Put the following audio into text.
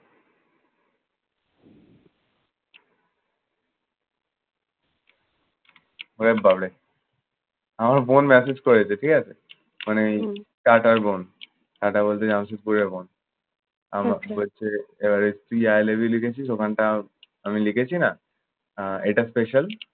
পুরান public আমার বোন message করেছে ঠিক আছে মানে টাটার বোন। টাটা বলতেছে আমার শত্তুরের বোন আমাকে বলছে তুই high label গেছিস, ওখানটা আমি লিখেছি না? আহ এইটা special